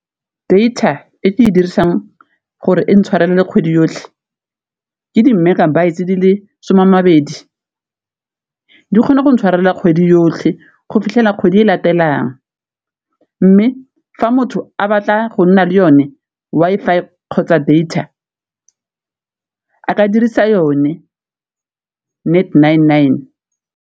Data e ke e dirisang gore e tshwarelele kgwedi yotlhe ke di- megabytes di le some a mabedi, di kgona go tshwarelela kgwedi yotlhe go fitlhela kgwedi e latelelang, mme fa motho a batla go nna le yone Wi-Fi kgotsa data a ka dirisa yone Net Nine Nine.